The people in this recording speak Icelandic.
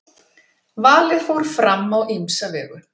Valið fór fram á ýmsa vegu.